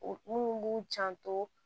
O minnu b'u janto